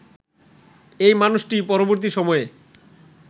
এই মানুষটি পরবর্তী সময়ে